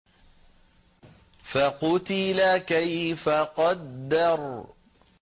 فَقُتِلَ كَيْفَ قَدَّرَ